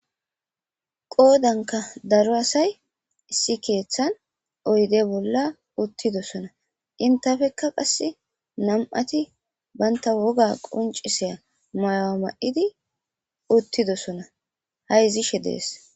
Qoodanka daro asay issi keeththan oyde bolla uttidosona entafeka qassi nam'ati banta woga qunccisiya mayuwa ma'idi uttidosona hayzishe dees.